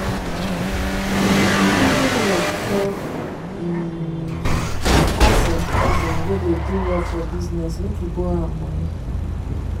he reason well before um e ask him cousin wey dey do well for business make e borrow am money.